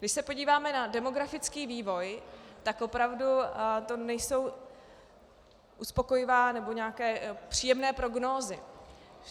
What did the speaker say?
Když se podíváme na demografický vývoj, tak opravdu to nejsou uspokojivé nebo nějaké příjemné prognózy.